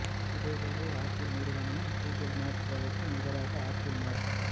இதேவேளை அப்பிள் நிறுவனமும் Google map சேவைக்கு நிகராக அப்பிள் மேப்